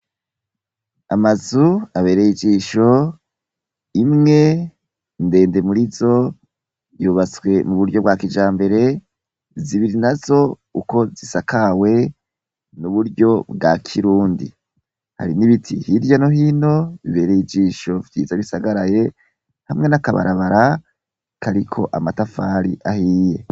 Amazu abereye ijisho imwe ndende murizo yubatswe muburyo bwa kijambere, zibiri nazo uko zisakawe n'unuryo bwa kirundi, hari n'ibiti hirya no hino vyiza bisagaraye hamwe nakabarabara kariko amatafari ahiye.